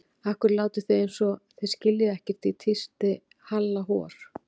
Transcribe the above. Af hverju látið þið eins og þið skiljið ekkert tísti í Halla hor.